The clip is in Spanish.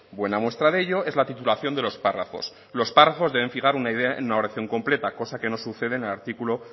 buena muestra de ello es la titulación de los párrafos los párrafos deben fijar una idea en una oración completa cosa que no sucede en el artículo